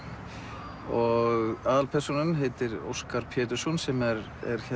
og aðalpersónan heitir Óskar Pétursson sem er